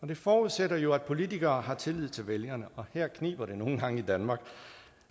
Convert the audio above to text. det forudsætter jo at politikere har tillid til vælgerne og her kniber det nogle gange i danmark